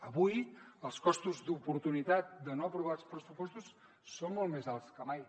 avui els costos d’oportunitat de no aprovar els pressupostos són molt més alts que mai